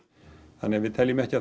þannig við teljum ekki að